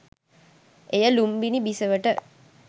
එය ලුම්බිණි බිසවට